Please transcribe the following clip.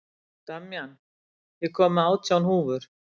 Damjan, ég kom með átján húfur!